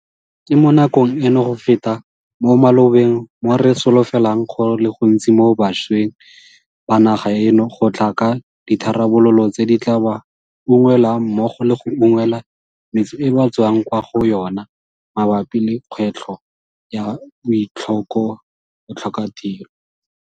Ke mo nakong eno go feta mo malobeng mo re solofelang go le gontsi mo bašweng ba naga eno go tla ka ditharabololo tse di tla ba unngwelang mmogo le go unngwela metse e ba tswang kwa go yona mabapi le kgwetlho ya botlhokatiro.